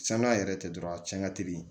Sanuya yɛrɛ tɛ dɔrɔn a cɛn ka teli